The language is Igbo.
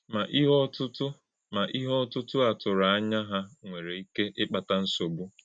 Mà íhè̄ ọ́tụ́tụ́ Mà íhè̄ ọ́tụ́tụ́ à tụrụ̄ ànyá̄ hà nwere íké ị́kpàtà nsọ̀gbú̄.